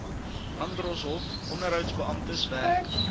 landdroshof onderhoudsbeamptes werk